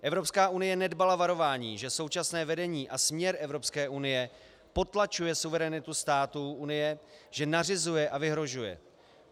Evropská unie nedbala varování, že současné vedení a směr Evropské unie potlačuje suverenitu států Unie, že nařizuje a vyhrožuje.